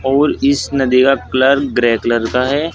और इस नदी का कलर ग्रे कलर का है।